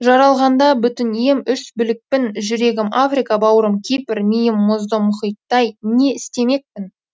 жаралғанда бүтін ем үш білікпін жүрегім африка бауырым кипр миым мұзды мұхиттай не істемекпін